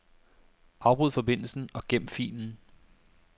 Afbryd forbindelsen og gem filen.